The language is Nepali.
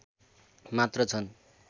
मात्र छन्